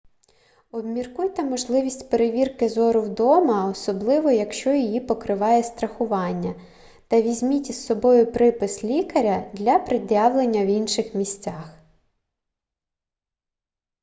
обміркуйте можливість перевірки зору вдома особливо якщо її покриває страхування та візьміть із собою припис лікаря для пред'явлення в інших місцях